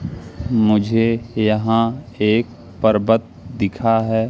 मुझे यहां एक पर्वत दिखा है।